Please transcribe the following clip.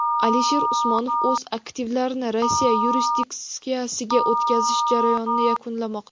Alisher Usmonov o‘z aktivlarini Rossiya yurisdiksiyasiga o‘tkazish jarayonini yakunlamoqda.